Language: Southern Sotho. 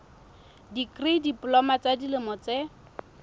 dikri diploma ya dilemo tse